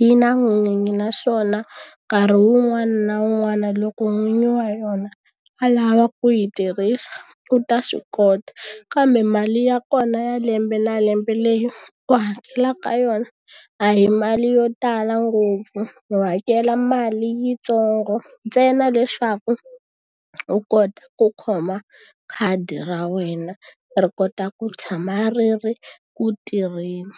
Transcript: yi na n'winyi, naswona nkarhi wun'wana na wun'wana loko n'winyi wa yona a lava ku yi tirhisa u ta swi kota. Kambe mali ya kona ya lembe na lembe leyi ku hakela ka yona, a hi mali yo tala ngopfu. U hakela mali yitsongo ntsena leswaku u kota ku khoma khadi ra wena ri kota ku tshama ri ri ku tirheni.